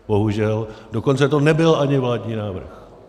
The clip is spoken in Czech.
Dokonce to nebyl ani vládní návrh.